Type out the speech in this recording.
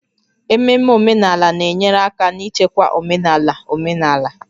Ememe omenala na-enyere aka n'ichekwa omenala omenala